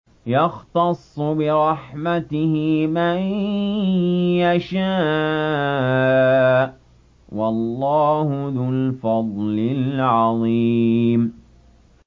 يَخْتَصُّ بِرَحْمَتِهِ مَن يَشَاءُ ۗ وَاللَّهُ ذُو الْفَضْلِ الْعَظِيمِ